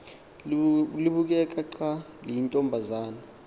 libukeka xa liyintombazana